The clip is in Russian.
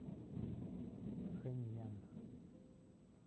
хэнъян